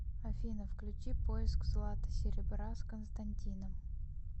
афина включи поиск злата серебра с константином